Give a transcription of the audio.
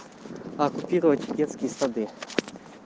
оккупировать детские сады